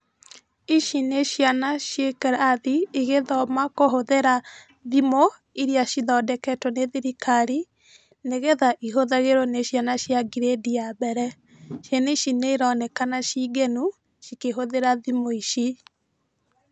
Ici nĩ ciana ciĩkĩrathi, igĩthoma kũhũthĩra thimũ, irĩa cithondeketwo nĩ thirikari, nĩgetha ihũthagĩrwo nĩ ciana cia ngirĩndi ya mbere. Ciana ici nĩ ironekana ciĩ ngenu cikĩhũthĩra thimũ ici.